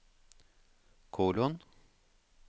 kolon